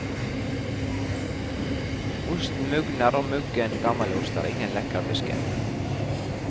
Osten mugner og muggen gammelost er ingen lekkerbisken.